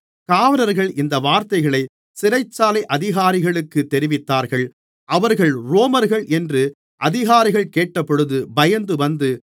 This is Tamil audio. காவலர்கள் இந்த வார்த்தைகளைச் சிறைச்சாலை அதிகாரிகளுக்குத் தெரிவித்தார்கள் அவர்கள் ரோமர்கள் என்று அதிகாரிகள் கேட்டபொழுது பயந்துவந்து